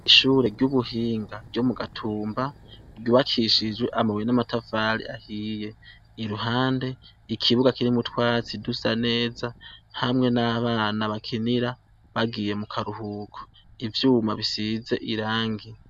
Ishure ry'ubuhinga ryo mu gatumba ryubakishijwe amaweye n'amatafale ahiye iruhande ikibuga kiri mutwatsi dusa neza hamwe n'abana bakinira bagiye mu karuhuko ivyuma bisize irangie.